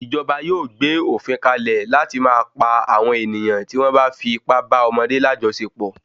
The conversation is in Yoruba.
Ìjọba yóò gbé òfin kalẹ̀ láti máa pa àwọ(n ènìyàn tí wọn bá fi ipá bá ọmọdé lajọsepọ